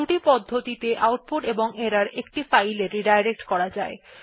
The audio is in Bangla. দুটি পদ্ধতিতে আউটপুট বা এরর একটি ফাইল এ পুননির্দেশনা করা যায়